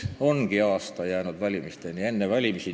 –, ongi aasta valimisteni jäänud.